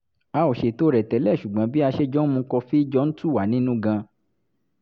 a ò ṣètò rẹ̀ tẹ́lẹ̀ ṣùgbọ́n bí a ṣe jọ ń mu kọfí jọ ń tù wá nínú gan-an